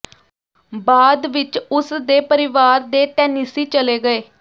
ਬਾਅਦ ਵਿਚ ਉਸ ਦੇ ਪਰਿਵਾਰ ਦੇ ਟੈਨਿਸੀ ਚਲੇ ਗਏ